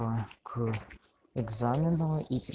а к экзамену и